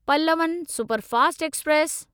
Pallavan superfast express